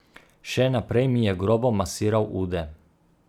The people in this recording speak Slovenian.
Še naprej mi je grobo masiral ude.